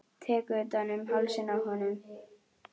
Tek utan um hálsinn á honum.